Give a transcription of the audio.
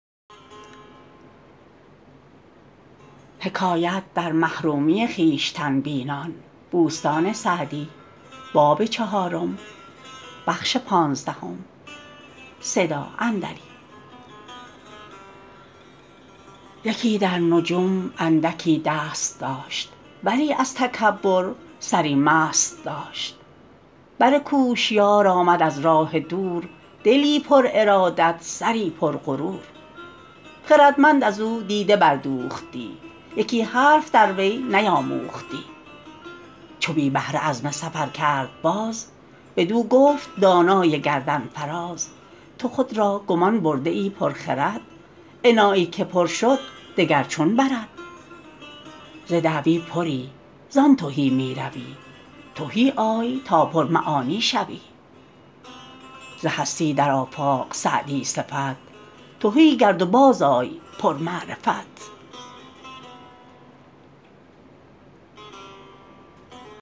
یکی در نجوم اندکی دست داشت ولی از تکبر سری مست داشت بر کوشیار آمد از راه دور دلی پر ارادت سری پر غرور خردمند از او دیده بردوختی یکی حرف در وی نیاموختی چو بی بهره عزم سفر کرد باز بدو گفت دانای گردن فراز تو خود را گمان برده ای پر خرد انایی که پر شد دگر چون برد ز دعوی پری زان تهی می روی تهی آی تا پر معانی شوی ز هستی در آفاق سعدی صفت تهی گرد و باز آی پر معرفت